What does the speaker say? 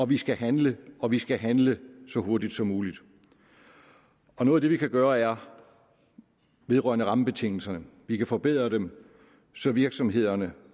vi skal handle og vi skal handle så hurtigt som muligt og noget af det vi kan gøre er vedrørende rammebetingelserne vi kan forbedre dem så virksomhederne